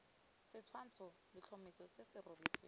setshwantsho letlhomeso se se rebotsweng